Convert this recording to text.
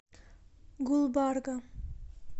гулбарга